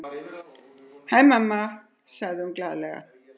Hæ, mamma, segir hún glaðlega.